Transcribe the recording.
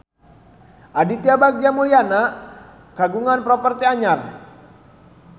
Aditya Bagja Mulyana kagungan properti anyar